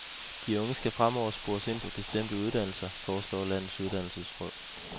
De unge skal fremover spores ind på bestemte uddannelser, foreslår landets uddannelsesråd.